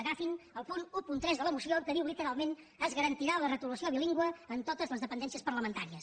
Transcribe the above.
agafin el punt tretze de la moció en què diu literalment es garantirà la retolació bilingüe en totes les dependències parlamentàries